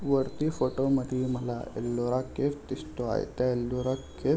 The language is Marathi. वरती फोटोमध्ये मला लोरा केव्स दिसतो आहे त्या लोरा केव्स --